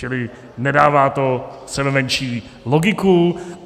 Čili nedává to sebemenší logiku.